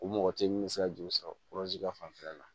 O mɔgɔ tɛ min bɛ se ka juru sɔrɔ ka fanfɛla la